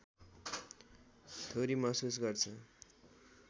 theory महसुस गर्छ